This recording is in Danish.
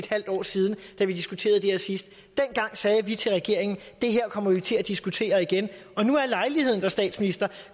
halv år siden da vi diskuterede det her sidst dengang sagde vi til regeringen det her kommer vi til at diskutere igen nu er lejligheden der statsminister